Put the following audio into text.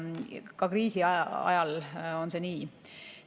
Ka kriisiajal on see nii.